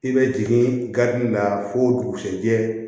I bɛ jigin garidi la fo dugusɛjɛ